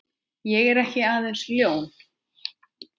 Ég er ekki aðeins ljón.